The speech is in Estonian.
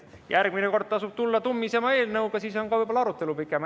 Järgmine kord tasub tulla tummisema eelnõuga, siis on ka võib-olla arutelu pikem.